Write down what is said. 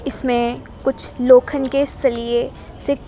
इसमें कुछ लोखन के सरिए--